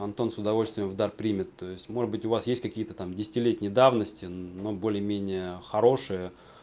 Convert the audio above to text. антон с удовольствием в дар примет то есть может быть у вас есть какие-то там десятилетней давности но более-менее хорошее